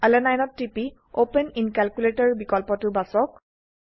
আলানিনে ত টিপি open in calculator বিকল্পটো বাছক